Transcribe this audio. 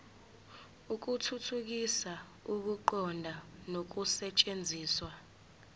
ukuthuthukisa ukuqonda nokusetshenziswa